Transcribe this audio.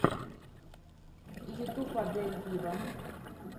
ютюб адель виво